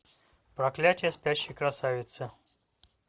проклятие спящей красавицы